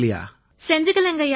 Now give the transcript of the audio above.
செஞ்சுக்கலைங்கய்யா